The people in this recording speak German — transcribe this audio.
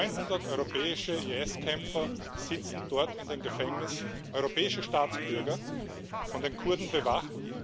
900 europäische IS Kämpfer sitzen dort in den Gefängnissen europäische Staatsbürger, von den Kurden bewacht.